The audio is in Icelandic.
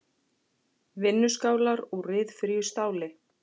Vinnuskálar úr ryðfríu stáli.